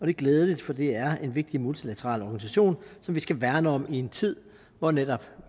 er glædeligt for det er en vigtig multilateral organisation som vi skal værne om i en tid hvor netop